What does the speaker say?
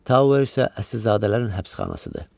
Tower isə əsrizadələrin həbsxanasıdır.